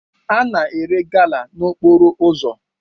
A na-ere gala n'okporo ụzọ